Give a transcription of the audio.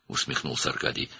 Arkadi gülümsündü.